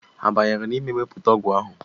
Ha banyere n'ime wepụta ọgwụ ahụ?